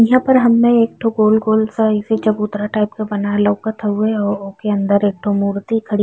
यहाँ पे हमे गोल गोल सा ऐसे चबूतरा टाइप का बना लोकत हउए। ओकर अंदर एक मूर्ति खड़ी --